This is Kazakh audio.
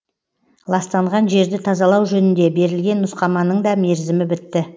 ластанған жерді тазалау жөнінде берілген нұсқаманың да мерзімі бітті